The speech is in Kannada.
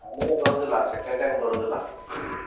ಆಮೇಲೆ ಬರುದಿಲ್ಲಾ second time ಬರುದಿಲ್ಲಾ.